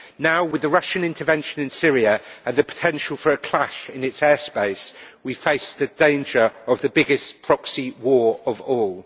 Now, with the Russian intervention in Syria and the potential for a clash in its airspace, we face the danger of the biggest proxy war of all.